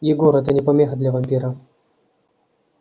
егор это не помеха для вампира